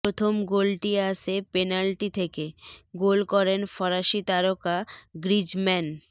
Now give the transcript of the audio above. প্রথম গোলটি আসে পেনাল্টি থেকে গোল করেন ফরাসি তারকা গ্রিজম্যান